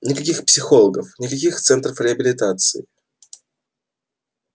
никаких психологов никаких центров реабилитации